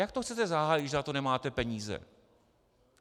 Jak to chcete zahájit, když na to nemáte peníze?